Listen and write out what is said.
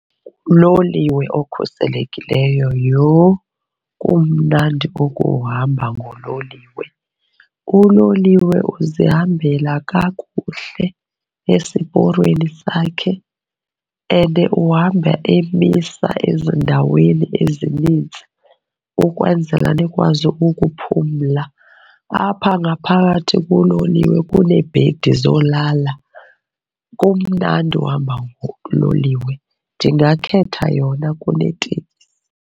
Uloliwe okhuselekileyo. Yho, umnandi ukuhamba nguloliwe! Uloliwe uzihambela kakuhle esiporweni sakhe and uhamba emisa ezindaweni ezininzi ukwenzela nikwazi ukuphumla. Apha ngaphakathi kuloliwe kuneebhedi zolala, kumnandi uhamba ngololiwe. Ndingakhetha yona kuneteksi.